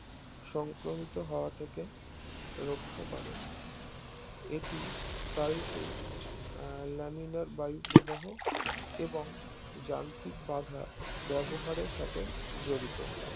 সংক্রমিত হওয়া থেকে রাখা করে এটি প্রায় সেই আহ লেমিনার বায়ু প্রবাহ এবং যান্ত্রিক বাধা ব্যবহারের সাথে জড়িত